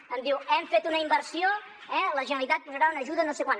em diu hem fet una inversió eh la generalitat posarà una ajuda de no sé quant